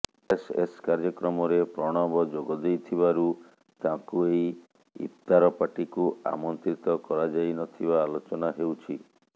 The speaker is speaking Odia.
ଆର୍ଏସ୍ଏସ୍ କାର୍ଯ୍ୟକ୍ରମରେ ପ୍ରଣବ ଯୋଗ ଦେଇଥିବାରୁ ତାଙ୍କୁ ଏହି ଇଫ୍ତାର ପାର୍ଟିକୁ ଆମନ୍ତ୍ରିତ କରାଯାଇ ନଥିବା ଆଲୋଚନା ହେଉଛି